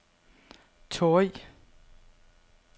Torrig